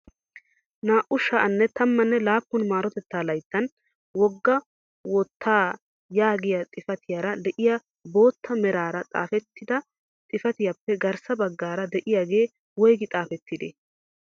Naa"u sha'anne tammanne laappun marotettaa layttaa wogga woottaa yaagiyaa xifatiyaara de'iyaa bootta meraara xaafettida xifatiyaappe garssa baggaara de'iyaagee woygi xaafettidee?